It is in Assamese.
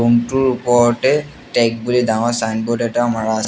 ৰুম টোৰ ওপৰতে টেক বুলি ডাঙৰ চাইনব'ৰ্ড এটাও মাৰা আ--